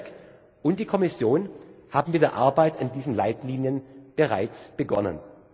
BEREC und die Kommission haben mit der Arbeit an diesen Leitlinien bereits begonnen.